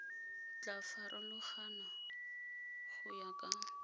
tla farologana go ya ka